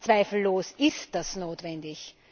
Zweifellos ist das notwendig.